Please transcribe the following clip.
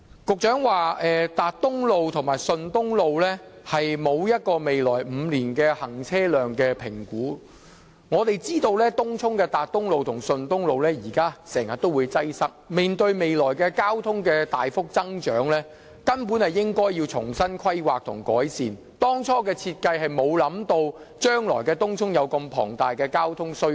局長說沒有就達東路和順東路未來5年的行車量/容車量比率進行估算，但我們知道東涌達東路和順東路現時經常出現擠塞，面對未來交通需求大幅增長，根本便應要重新規劃改善，因為最初設計時，根本沒有想到東涌將來會有如此龐大的交通需求。